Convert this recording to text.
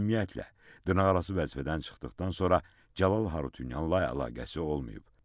Ümumiyyətlə, dırnaqarası vəzifədən çıxdıqdan sonra Cəlal Harutyunyanla əlaqəsi olmayıb.